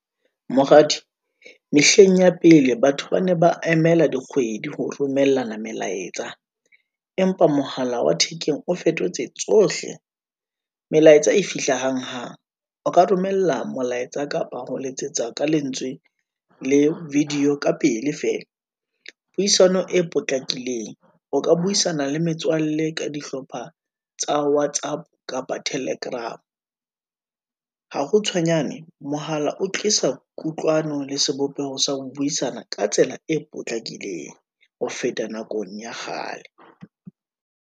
Moradi, mehleng ya pele, batho bane ba emela dikgwedi ho romellana melaetsa, empa mohala wa thekeng o fetotse tsohle, melaetsa e fihla hang hang. O ka romella molaetsa kapa ho letsetsa ka lentswe le video ka pele feela. Puisano e potlakileng o ka buisana le metswalle ka dihlopha tsa whatsapp, kapa telegram, ha ho tshwenyane mohala o tlisa kutlwano le sebopeho sa ho buisana, ka tsela e potlakileng. Ho feta nakong ya kgale.